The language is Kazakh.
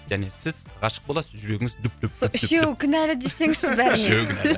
және сіз ғашық боласыз жүрегіңіз лүп лүп лүп лүп лүп сол үшеуі кінәлі десеңізші бәріне үшеуі кінәлі